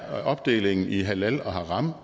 opdelingen i halal og haram